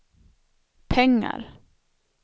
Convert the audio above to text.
pengar